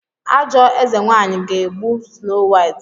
Ajọ eze nwanyị ga-egbu Snow White?